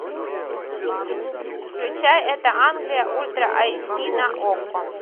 включай это англия ультра эйч ди на окко